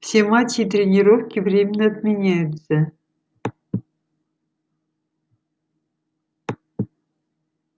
все матчи и тренировки временно отменяются